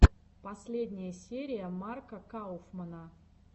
последняя серия марка кауфмана